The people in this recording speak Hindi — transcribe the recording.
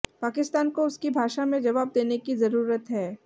पाकिस्तान को उसकी भाषा में जवाब देने की जरूरत है